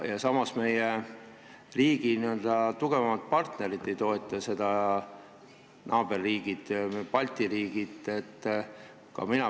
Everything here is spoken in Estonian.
Ja meie riigi tugevamad partnerid ja naaberriigid, teised Balti riigid ei toeta seda.